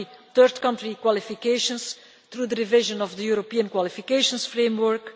third country qualifications through the division of the European Qualifications Framework